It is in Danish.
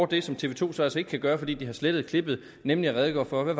det som tv to så altså ikke kan gøre fordi de har slettet klippet nemlig redegør for hvad